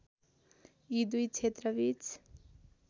यी दुई क्षेत्रबीच